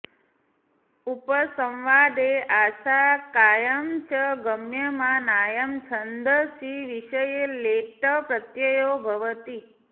उपसंवादे आशङ्कायां च गम्यमानायां छन्दसि विषये लेट् प्रत्ययो भवति